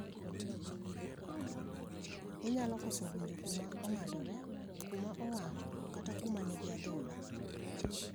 Inaylo koso winjo kuma ong'adore ,kuma owang' kata kuma nigi adhola.